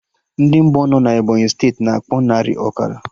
Ndị Ngbo nọ na Ebọnyị steeti, na akpọ narị, ọkara